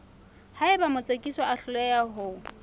haeba motsekiswa a hloleha ho